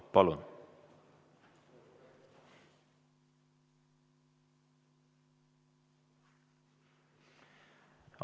Palun!